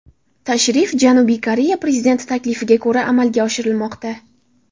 Tashrif Janubiy Koreya prezidenti taklifiga ko‘ra amalga oshirilmoqda.